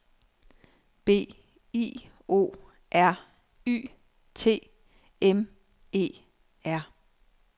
B I O R Y T M E R